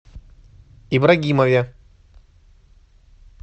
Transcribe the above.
ибрагимове